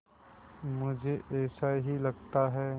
मुझे ऐसा ही लगता है